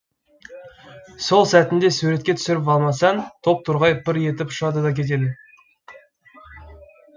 сол сәтінде суретке түсіріп алмасаң топ торғай пыр етіп ұшады да кетеді